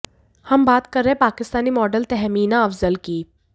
हम बात कर रहे हैं पाकिस्तानी मॉडल तहमीना अफजल की